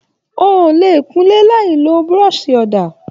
O ò lè kún ilé láì lo burọ̀sì ọ̀dà.